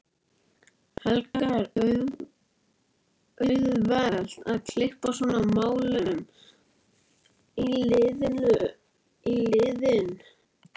Helga: Er auðvelt að kippa svona málum í liðinn?